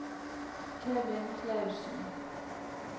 Kevin Clausen